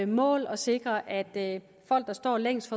mål at sikre at folk der står længst